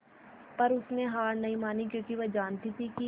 पर उसने हार नहीं मानी क्योंकि वह जानती थी कि